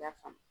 I y'a faamu